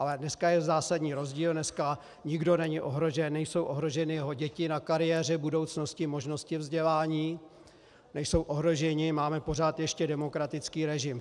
Ale dneska je zásadní rozdíl, dneska nikdo není ohrožen, nejsou ohroženy jeho děti na kariéře, budoucnosti, možnosti vzdělání, nejsou ohroženi, máme pořád ještě demokratický režim.